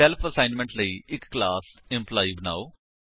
self assessment ਲਈ ਇੱਕ class employee ਬਨਾਓ